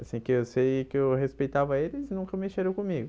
Assim que eu sei que eu respeitava eles, nunca mexeram comigo.